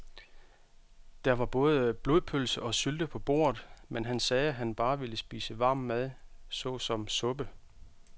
Der var både blodpølse og sylte på bordet, men han sagde, at han bare ville spise varm mad såsom suppe.